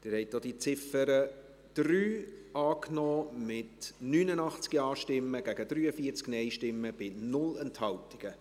Sie haben auch die Ziffer 3 angenommen, mit 89 Ja- gegen 43 Nein-Stimmen bei 0 Enthaltungen.